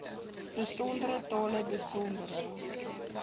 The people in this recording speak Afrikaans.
besondere tale besondere